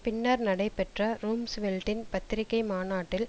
பின்னர் நடைபெற்ற ரும்ஸ்வெல்டின் பத்திரிகை மாநாட்டில்